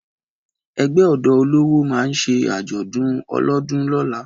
Ẹgbẹ́ ọ̀dọ́ olówó ma ṣe àjọ̀dún olọ́dodún lóla